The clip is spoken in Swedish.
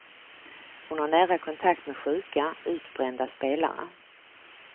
Hon har nära kontakt med sjuka, utbrända spelare.